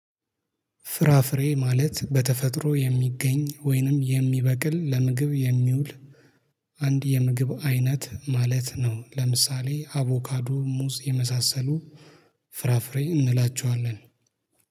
ፍራፍሬ ማለት በተፈጥሮ የሚገኝ ወይንም የሚበቅል ለምግብ የሚውል። አንድ የምግብ አይነት ማለት ነው። ለምሳሌ አቮካዶ ሙዝ የመሳሰሉ። ፍራፍሬ እንላቸዋለን